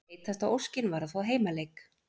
Heitasta óskin var að fá heimaleik